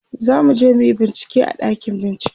zamuje muyi bincike a ɗakin bincike